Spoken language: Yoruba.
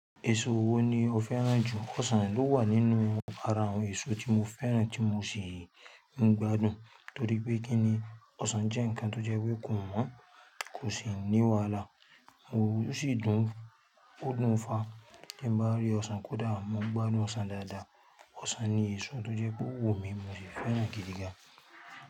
Èso wo ni o fẹ́ràn jù? Ọsàn ló wà nínú ara àwọn èso tí mo fẹ́ràn tí mo sì ń gbádùn torí pé kí ni ọsàn jẹ́ ǹkan tó jẹ́ pé kò wọ̀n, kò sì ní wàhálà. Mo sì dùn ún fa tí bá rí ọsàn kódà mo ń gbádùn ọsàn dáadáa. Ọsàn ni èso tó jẹ́ pé wò mí mo sì fẹ́ràn gidi gan.